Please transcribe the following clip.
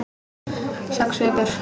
Sex vikur.